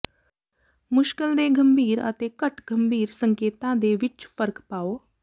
ਮੁਸ਼ਕਲ ਦੇ ਗੰਭੀਰ ਅਤੇ ਘੱਟ ਗੰਭੀਰ ਸੰਕੇਤਾਂ ਦੇ ਵਿੱਚ ਫਰਕ ਪਾਓ